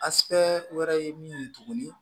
wɛrɛ ye min ye tuguni